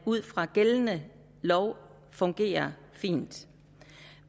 ud fra gældende lov fungerer fint